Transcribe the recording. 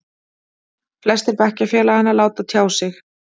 Flestir bekkjarfélaganna láta sjá sig.